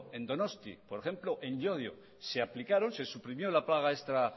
en donosti por ejemplo en llodio se aplicaron se suprimió la paga extra